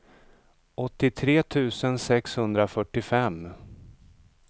åttiotre tusen sexhundrafyrtiofem